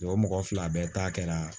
o mɔgɔ fila bɛɛ ta kɛra